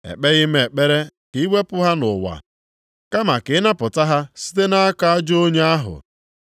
Ekpeghị m ekpere ka iwepụ ha nʼụwa, kama ka ịnapụta ha site nʼaka ajọ onye ahụ.